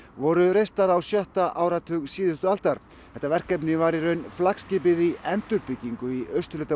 voru reistar á sjötta áratug síðustu aldar þetta verkefni var í raun flaggskip endurbyggingar í austurhluta